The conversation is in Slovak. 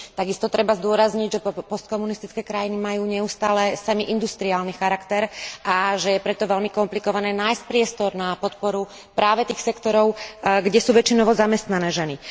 Takisto treba zdôrazniť, že postkomunistické krajiny majú neustále semiindustriálny charakter, a že je preto veľmi komplikované nájsť priestor na podporu práve tých sektorov, kde sú väčšinou zamestnané ženy.